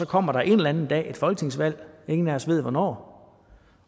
kommer en eller anden dag et folketingsvalg ingen af os ved hvornår